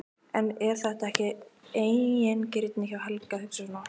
En er þetta ekki eigingirni hjá Helga að hugsa svona?